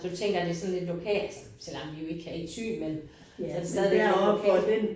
Så du tænker det sådan lidt lokalt selvom vi jo ikke er i Thy men så det stadig lidt lokalt